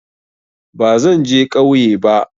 Bazan je kauye ba